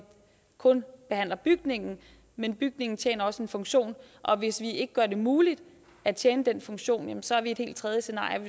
kun at behandle bygningen men bygningen tjener også en funktion og hvis vi ikke gør det muligt at tjene den funktion så er vi i et helt tredje scenarie